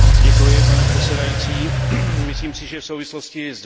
Pane předsedající, myslím si, že v souvislosti s